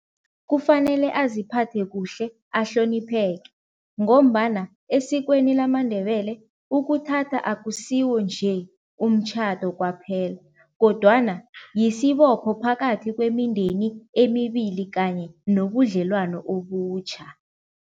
Kufanele aziphathe kuhle ahlonipheke ngombana esikweni lamaNdebele ukuthatha akusiwo nje umtjhado kwaphela kodwana yisibopho phakathi kwemindeni emibili kanye nobudlelwano obutjha.